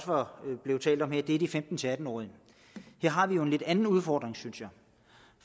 blevet talt om her er de femten til atten årige her har vi en lidt anden udfordring synes jeg